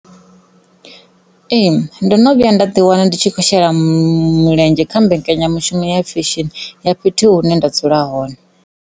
Ee, ndo no vhuya nda ḓi wana ndi tshi khou shela mulenzhe kha mbekanyamushumo fesheni ya fhethu hune dzula hone.